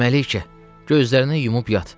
Mələykə, gözlərini yumub yat.